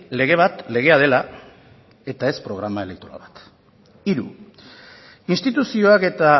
lege bat legea dela eta ez programa elektoral bat hiru instituzioak eta